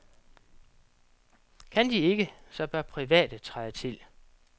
Kan de ikke, så bør private træde til.